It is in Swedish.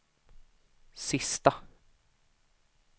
sista